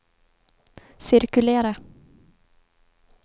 cirkulera